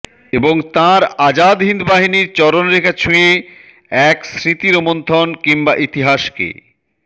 এবং তাঁর আজাদ হিন্দ বাহিনীর চরণরেখা ছুঁয়ে এক স্মৃতি রোমন্থন কিংবা ইতিহাসকে